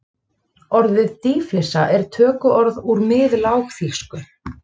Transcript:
Orðið dýflissa er tökuorð úr miðlágþýsku.